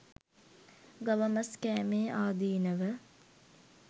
ගව මස් කෑමේ ආදීනව